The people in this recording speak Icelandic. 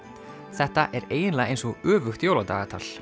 þetta er eiginlega eins og öfugt jóladagatal